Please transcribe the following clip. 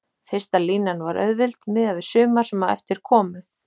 Fyrsta línan var auðveld miðað við sumar sem á eftir komu.